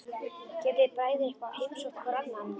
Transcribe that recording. Getið þið bræður eitthvað heimsótt hvor annan?